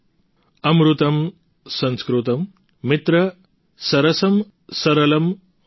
અમૃતમ સંસ્કૃતમ મિત્ર સરસમ્ સરલમ્ વચઃ